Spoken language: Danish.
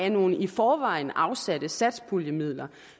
af nogle i forvejen afsatte satspuljemidler